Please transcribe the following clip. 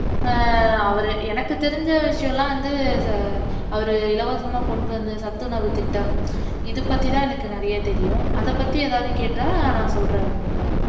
ஆஹ் அவர் எனக்கு தெரிஞ்ச விஷயம் எல்லாம் வந்து அவர் இலவசமா கொண்டுவந்த சத்துணவுத்திட்டம் இதுப்பத்திதான் எனக்கு நிறைய தெரியும் அதைபத்தி ஏதாவது கேட்டா நான் சொல்றேன் வர்னிகா